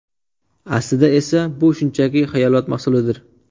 Aslida esa bu shunchaki xayolot mahsulidir.